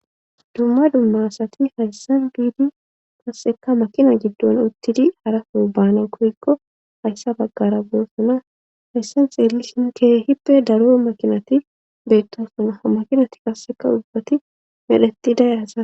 dumma dumma asati hayssan biidi kasseka makina giddon uttidi hara soubana koykko hayssa baggara boossana hayssan xeelli sin kee hippe daruo makinati beettosana ha makinati qasseka ubbati medheti dayasa.